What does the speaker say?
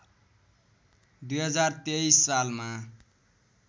२०२३ सालमा